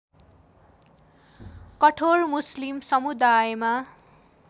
कठोर मुस्लिम समुदायमा